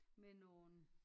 Med nogle